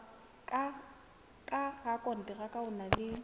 ka rakonteraka o na le